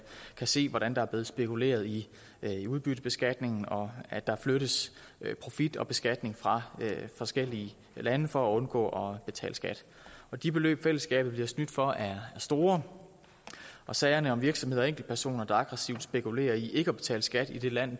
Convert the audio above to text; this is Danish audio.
se hvordan der er blevet spekuleret i i udbyttebeskatningen og at der flyttes profit og beskatning fra forskellige lande for at undgå at betale skat de beløb fællesskabet bliver snydt for er store sagerne om virksomheder og enkeltpersoner der aggressivt spekulerer i ikke at betale skat i det land